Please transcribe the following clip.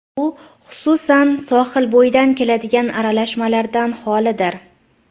U, xususan, sohilbo‘yidan keladigan aralashmalardan xolidir.